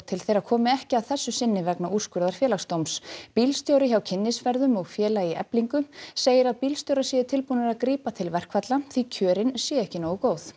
til þeirra komi ekki að þessu sinni vegna úrskurðar Félagsdóms bílstjóri hjá kynnisferðum og félagi hjá Eflingu segir að bílstjórar séu tilbúnir að grípa til verkfalla því kjörin séu ekki nógu góð